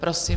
Prosím.